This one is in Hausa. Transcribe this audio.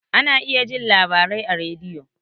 Ana iya jin labarai a rediyo